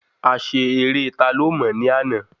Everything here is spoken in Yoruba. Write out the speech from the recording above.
A ṣe eré ta ló mò ní àná